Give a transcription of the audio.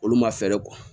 Olu ma fɛɛrɛ